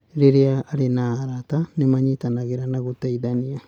Rĩrĩa arĩ na arata, nĩ manyitanagĩra na gũteithania.